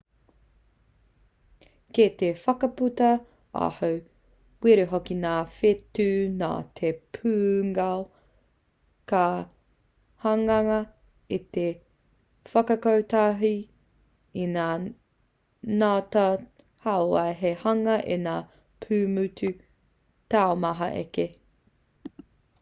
kei te whakaputa aho wera hoki ngā whetū nā te pūngao ka hangaia i te whakakotahi te kōmitimiti rānei i ngā ngota hauwai hei hanga i ngā pūmotu taumaha ake